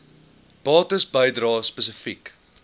bates bedrae spesifiek